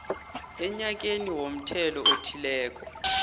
enyakeni womthelo othileko